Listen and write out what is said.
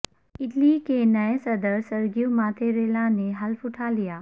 Italy کے نئے صدر سرگیو ماتیریلا نے حلف اٹھالیا